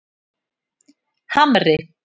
Hamri